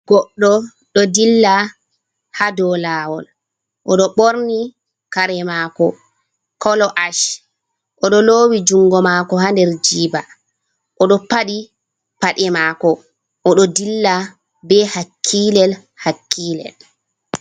Goɗɗo ɗo dilla haa dow lawol, o ɗo ɓorni kare mako kolo ash, o ɗo lowi jungo mako haa der jiba, o ɗo paɗi paɗe mako, o ɗo dilla be hakkilel-hakkilel.